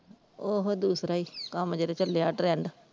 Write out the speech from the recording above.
ਓਹੋ ਦੂਸਰਾ ਹੀ ਕੰਮ ਜਿਹੜਾ ਚੱਲਿਆ trend.